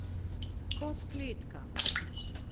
Kot kletka.